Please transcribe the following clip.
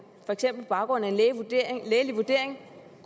baggrund af en lægelig vurdering